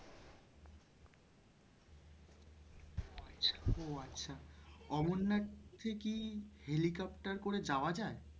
ওহ আচ্ছা অমরনাথে কি helicopter করে যাওয়া যায়?